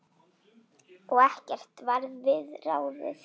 Og ekkert varð við ráðið.